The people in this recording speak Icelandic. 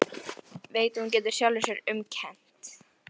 Veit að hún getur sjálfri sér um kennt.